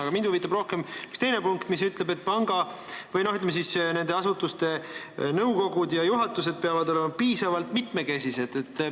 Aga mind huvitab rohkem üks teine punkt, mis ütleb, et nende asutuste nõukogud ja juhatused peavad olema piisavalt mitmekesised.